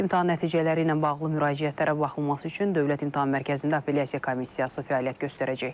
İmtahan nəticələri ilə bağlı müraciətlərə baxılması üçün Dövlət İmtahan Mərkəzində apellyasiya komissiyası fəaliyyət göstərəcək.